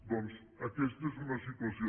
doncs aquesta és una situació